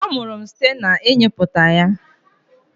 amuru m site na ịnyịputa ya.